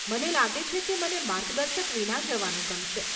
મને લાગે છે કે મને માર્ગદર્શક વિના જવાનું ગમશે.